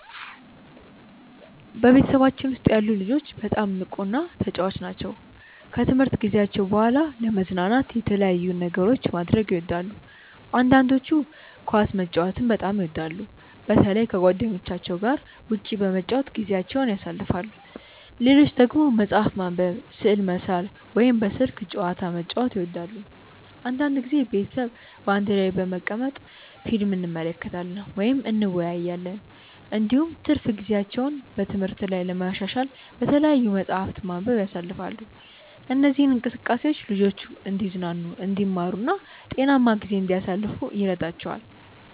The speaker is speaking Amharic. በቤተሰባችን ውስጥ ያሉ ልጆች በጣም ንቁና ተጫዋች ናቸው። ከትምህርት ጊዜያቸው በኋላ ለመዝናናት የተለያዩ ነገሮችን ማድረግ ይወዳሉ። አንዳንዶቹ ኳስ መጫወትን በጣም ይወዳሉ፣ በተለይ ከጓደኞቻቸው ጋር ውጭ በመጫወት ጊዜያቸውን ያሳልፋሉ። ሌሎች ደግሞ መጽሐፍ ማንበብ፣ ስዕል መሳል ወይም በስልክ ጨዋታ መጫወት ይወዳሉ። አንዳንድ ጊዜ ቤተሰብ በአንድ ላይ በመቀመጥ ፊልም እንመለከታለን ወይም እንወያያለን። እንዲሁም ትርፍ ጊዜያቸውን በትምህርት ላይ ለማሻሻል በተለያዩ መጻሕፍት ማንበብ ያሳልፋሉ። እነዚህ እንቅስቃሴዎች ልጆቹ እንዲዝናኑ፣ እንዲማሩ እና ጤናማ ጊዜ እንዲያሳልፉ ይረዳቸዋል።